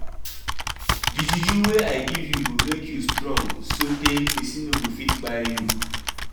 Di juju wey I give you go make you strong sotee pesin no go fit kpai you.